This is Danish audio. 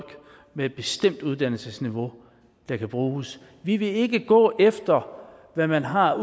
med et bestemt uddannelsesniveau der kan bruges vi vil ikke gå efter hvad man har